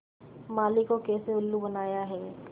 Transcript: माली को कैसे उल्लू बनाया है